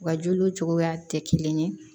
U ka juruw cogoya tɛ kelen ye